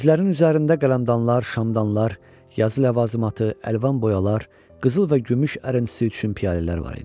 Mizlərin üzərində qələmdanlar, şamdanlar, yazı ləvazimatı, əlvan boyalar, qızıl və gümüş ərəntisi üçün piyalələr var idi.